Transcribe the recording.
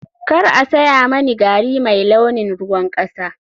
Kar a saya mani gari mai launin ruwan kasa.